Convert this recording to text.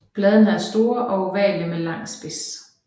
Bladene er store og ovale med lang spids